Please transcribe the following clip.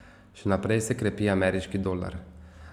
Še naprej se krepi ameriški dolar.